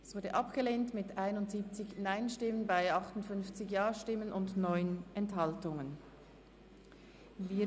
Das Postulat ist mit 71 Nein- zu 58 JaStimmen bei 9 Enthaltungen abgelehnt worden.